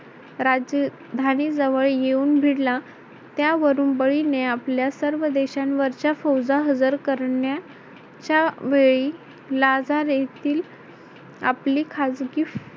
राजधानी जवळ येऊन भिडला त्यावरून बळीने आपल्या सर्व देशांवरच्या फौजा हजर करण्या च्या वेळी लाजार येथील आपली खाजगी